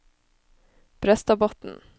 Brøstadbotn